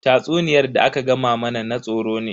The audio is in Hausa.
Tatsuniyar da aka gama mana na tsoro ne.